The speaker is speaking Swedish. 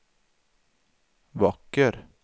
vacker